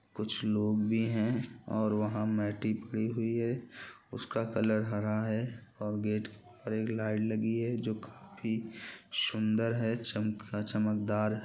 कुछ लोग भी हैं और वहाँ मेटिक भी हुई हैं उसका कलर हरा है और गेट पर एक लाइट लगी है जो की सुंदर है चम -चम्मकदार--